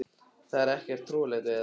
Það er ekkert trúarlegt við það.